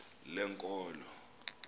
lenkolo